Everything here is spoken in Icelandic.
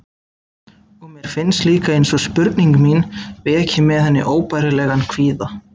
Og mér finnst líka einsog spurning mín veki með henni óbærilegan kvíða.